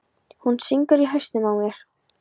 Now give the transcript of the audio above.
Hún syngur í hausnum á mér.